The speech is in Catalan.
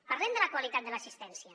parlem de la qualitat de l’assistència